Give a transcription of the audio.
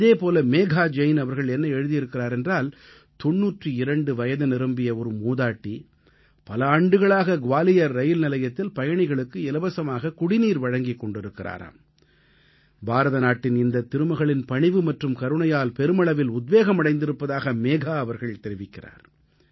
இதே போல மேகா ஜெயின் அவர்கள் என்ன எழுதியிருக்கிறார் என்றால் 92 வயது நிரம்பிய ஒரு மூதாட்டி பல ஆண்டுகளாக க்வாலியர் இரயில் நிலையத்தில் பயணிகளுக்கு இலவசமாக குடிநீர் வழங்கிக் கொண்டிருக்கிறாராம் பாரத நாட்டின் இந்தத் திருமகளின் பணிவு மற்றும் கருணையால் பெருமளவில் உத்வேகம் அடைந்திருப்பதாக மேகா அவர்கள் தெரிவிக்கிறார்